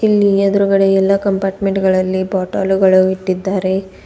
ಇಲ್ಲಿ ಎದ್ರುಗಡೆ ಎಲ್ಲಾ ಕಂಪಾರ್ಟ್ಮೆಂಟ್ ಗಳಲ್ಲಿ ಬಾಟಲುಗಳು ಇಟ್ಟಿದ್ದಾರೆ.